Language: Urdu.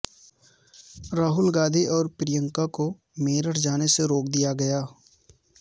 راہول اور پریانکا کو میرٹھ جانے سے روک دیا گیا